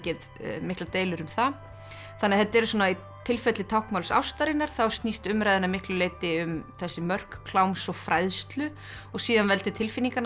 miklar deilur um það þannig að þetta er svona í tilfelli táknmáls ástarinnar þá snýst umræðan að miklu leyti um þessi mörk kláms og fræðslu og síðan veldi tilfinninganna